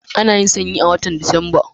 Ana yin sanyi a watan Disamba.